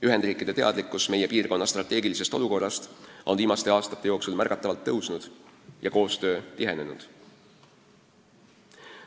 Ühendriikide teadlikkus meie piirkonna strateegilisest olukorrast on viimaste aastate jooksul märgatavalt tõusnud ja koostöö tihenenud.